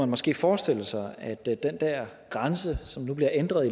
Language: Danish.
måske forestille sig at den grænse som nu bliver ændret